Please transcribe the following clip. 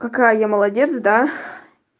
какая я молодец да